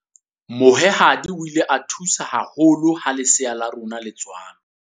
Mohwehadi o ile a thusa haholo ha lesea la rona ha le tswalwa.